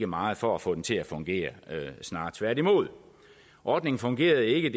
meget for at få den til at fungere snarere tværtimod ordningen fungerede ikke